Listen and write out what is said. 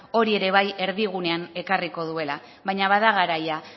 hori ere bai erdigunean ekarriko duela baina bada garaia